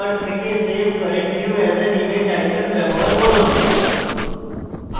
tool bar থেকে save current view as an image icon bar করুন